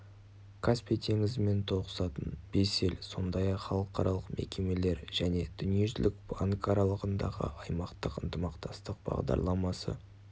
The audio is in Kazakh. каспий теңізімен тоғысатын бес ел сондай-ақ халықаралық мекемелер және дүниежүзілік банк аралығындағы аймақтық ынтымақтастық бағдарламасы